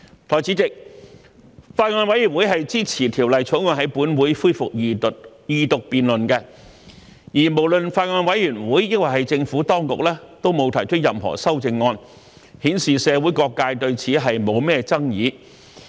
代理主席，法案委員會是支持《條例草案》在本會恢復二讀辯論的，而無論法案委員會還是政府當局，都沒有提出任何修正案，顯示社會各界對此沒有什麼爭議。